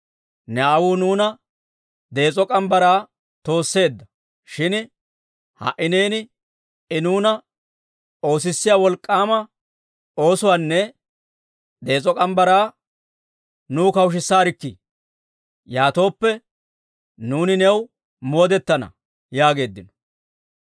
«Ne aawuu nuuna dees'o morgge mitsaa toosseedda; shin ha"i neeni I nuuna oosissiyaa wolk'k'aama oosuwaanne dees'o morgge mitsaa nuw kawushisaarkkii. Yaatooppe, nuuni new moodetana» yaageeddino.